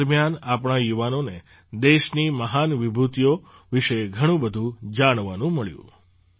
આ દરમિયાન આપણા યુવાનોને દેશની મહાન વિભૂતિઓ વિશે ઘણું બધું જાણવાનું મળ્યું